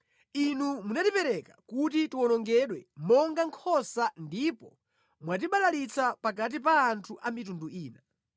Inu munatipereka kuti tiwonongedwe monga nkhosa ndipo mwatibalalitsa pakati pa anthu a mitundu ina.